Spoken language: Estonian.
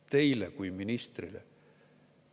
Teile kui ministrile.